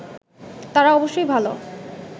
তারা অবশ্যই ভালো